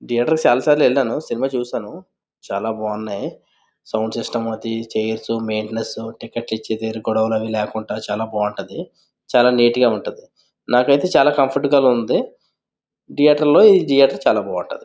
ఈ అడ్రస్ కి చాలాసార్లు వెళ్ళాను సినిమా చూశాను చాలా బాగున్నాయి సౌండ్ సిస్టము అది చైర్స్ మెయింటెనెన్స్ టికెట్ లు ఇచ్చే దగ్గర గొడవలు అయ్యే లేకుండా చాలా బాగుంటది చాలా నీట్ గా ఉంటది నాకైతే చాల కంఫర్టబుల్ గా ఉంది థియేటర్ లో ఈ థియేటర్ చాలా బావుంటది.